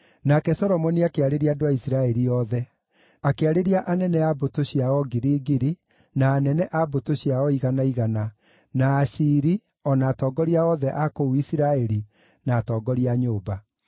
Nake Solomoni akĩarĩria andũ a Isiraeli othe: akĩarĩria anene a mbũtũ cia o ngiri ngiri, na anene a mbũtũ cia o igana igana, na aciiri, o na atongoria othe a kũu Isiraeli, na atongoria a nyũmba.